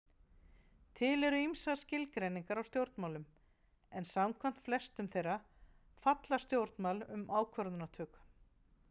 Til eru ýmsar skilgreiningar á stjórnmálum, en samkvæmt flestum þeirra fjalla stjórnmál um ákvarðanatöku.